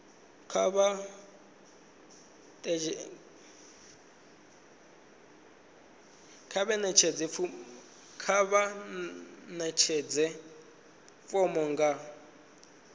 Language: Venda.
kha vha ḓadze fomo nga